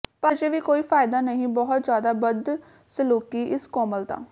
ਪਰ ਅਜੇ ਵੀ ਕੋਈ ਫ਼ਾਇਦਾ ਨਹੀ ਬਹੁਤ ਜ਼ਿਆਦਾ ਬਦਸਲੂਕੀ ਇਸ ਕੋਮਲਤਾ